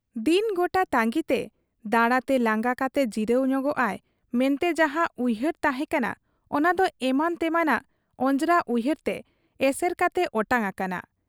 ᱫᱤᱱ ᱜᱚᱴᱟ ᱛᱟᱺᱜᱤᱛᱮ, ᱫᱟᱬᱟᱛᱮ ᱞᱟᱸᱜᱟ ᱠᱟᱛᱮ ᱡᱤᱨᱟᱹᱣ ᱧᱚᱜᱚᱜ ᱟᱭ ᱢᱮᱱᱛᱮ ᱡᱟᱦᱟᱸ ᱩᱭᱦᱟᱹᱨ ᱛᱟᱦᱮᱸ ᱠᱟᱱᱟ, ᱚᱱᱟᱫᱚ ᱮᱢᱟᱱ ᱛᱮᱢᱟᱱᱟᱜ ᱚᱡᱽᱨᱟ ᱩᱭᱦᱟᱹᱨᱛᱮ ᱮᱥᱮᱨ ᱠᱟᱛᱮ ᱚᱴᱟᱝ ᱟᱠᱟᱱᱟ ᱾